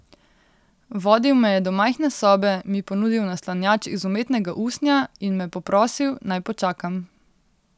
Vodil me je do majhne sobe, mi ponudil naslanjač iz umetnega usnja in me poprosil, naj počakam.